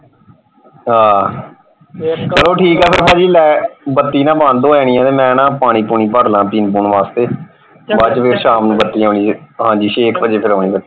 ਆਹ ਚੱਲੋ ਠੀਕ ਆ ਫੇਰ ਪਾਜੀ light ਬਤੀ ਨਾ ਬੰਦ ਹੋ ਜਾਣੀ ਹੈ ਤੇ ਮੈਂ ਨਾ ਪਾਣੀ ਪੂਣੀ ਭਰਲਾ ਪੀਣ ਪੁਣ ਵਾਸਤੇ। ਬਾਅਦ ਚ ਫੇਰ ਸ਼ਾਮ ਨੂੰ ਬਤੀ ਆਉਣੀ ਜੇ ਹਾਂਜੀ ਛੇ ਕੁ ਵਜੇ ਆਉਣੀ ਫੇਰ।